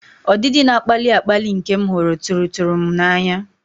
Ọdịdị na-akpali akpali nke m hụrụ tụrụ tụrụ m n'anya.